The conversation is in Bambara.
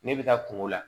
Ne bɛ taa kungo la